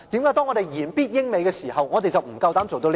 為何我們言必英、美時，我們不夠膽做到這一步？